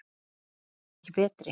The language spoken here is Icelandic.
Og ef ekki betri!